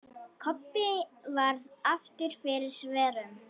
Kobbi varð aftur fyrir svörum.